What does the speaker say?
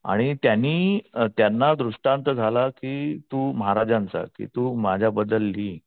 आणि त्यांनी त्यांना दृष्टांत झाला की महाराजांचा की तू माझ्याबद्दल लिह.